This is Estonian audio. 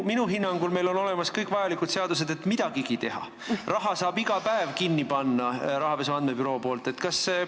Minu hinnangul on meil olemas kõik vajalikud seadused, et midagigi teha, rahapesu andmebüroo saab raha iga päev kinni panna.